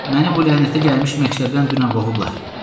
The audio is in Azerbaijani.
Məni bu lənətə gəlmiş məktəbdən dünən qovublar.